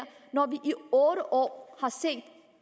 når vi jo i otte år har set at